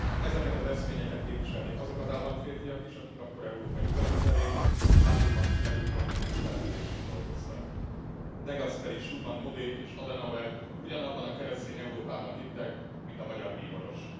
Ezeket az eszményeket képviselték azok az államférfiak is, akik akkor Európa nyugati felén a háborúban kimerült kontinens felemelésén dolgoztak. De Gasperi, Schumann, Monnet és Adenauer ugyanabban a keresztény Európában hittek, mint a magyar bíboros.